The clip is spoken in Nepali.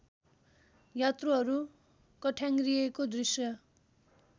यात्रुहरू कठ्याङ्ग्रिएको दृश्य